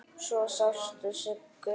Svo sástu Siggu.